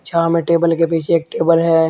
यहां में टेबल के पीछे एक टेबल है।